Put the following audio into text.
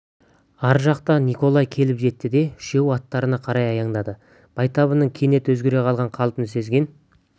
ар жақтарынан николай келіп жетті де үшеуі аттарына қарай аяңдады байтабынның кенет өзгере қалған қалпын сезген